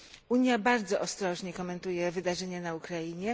Unia bardzo ostrożnie komentuje wydarzenia na Ukrainie.